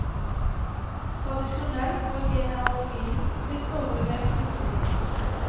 Tradisjonelt var genealogien blitt overlevert muntlig.